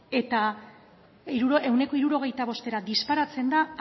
eta ehuneko hirurogeita bostera disparatzen da